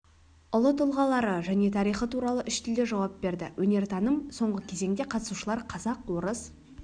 ұлы тұлғалары және тарихы туралы үш тілде жауап берді өнертаным соңғы кезеңде қатысушылар қазақ орыс